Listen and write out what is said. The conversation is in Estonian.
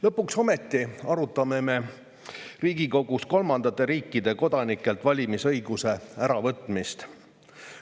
Lõpuks ometi arutame me Riigikogus kolmandate riikide kodanikelt valimisõiguse äravõtmist.